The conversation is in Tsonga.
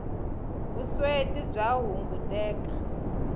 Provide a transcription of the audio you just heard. vusweti bya hunguteka